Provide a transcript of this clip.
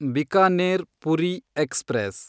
Bikaner Puri express